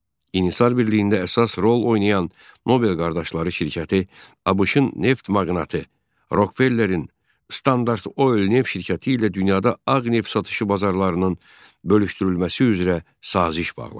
İnhisar Birliyində əsas rol oynayan Nobel qardaşları şirkəti ABŞ-ın neft maqnati Rokvellerin Standart Oil neft şirkəti ilə dünyada ağ neft satışı bazarlarının bölüşdürülməsi üzrə saziş bağladı.